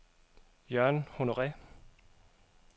Jørgen Honore